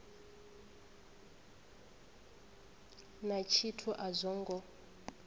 na tshithu a zwo ngo